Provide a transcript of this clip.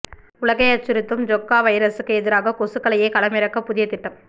உலகை அச்சுறுத்தும் ஜிக்கா வைரஸூக்கு எதிராக கொசுக்களையே களமிறக்க புதிய திட்டம்